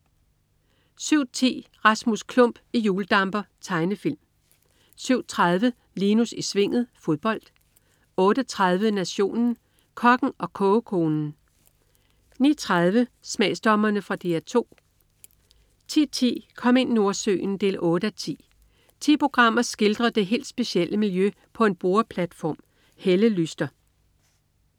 07.10 Rasmus Klump i hjuldamper. Tegnefilm 07.30 Linus i Svinget. Fodbold 08.30 Nationen. Kokken og kogekonen 09.30 Smagsdommerne. Fra DR 2 10.10 Kom ind Nordsøen 8:10. Ti programmer skildrer det helt specielle miljø på en boreplatform. Helle Lyster